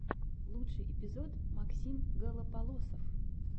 лучший эпизод максим голополосов